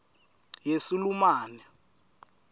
yesulumane